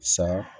Sa